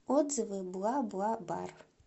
отзывы бла бла бар